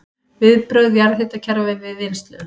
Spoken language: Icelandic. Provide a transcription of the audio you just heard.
Viðbrögð jarðhitakerfa við vinnslu